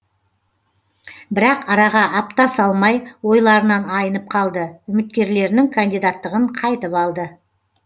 бірақ араға апта салмай ойларынан айнып қалды үміткерлерінің кандидаттығын қайтып алды